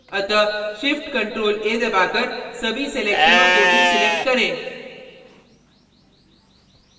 अतः shift + ctrl + a दबाकर सभी selections को deselect करें